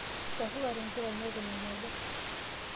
Ichafukate nkilani aikunaki aja.